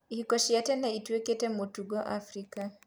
ihiko cia tene ĩtuĩkĩte mũtugo Afrika